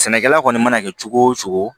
Sɛnɛkɛla kɔni mana kɛ cogo o cogo